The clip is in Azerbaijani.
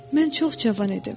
Mən çox cavan idim.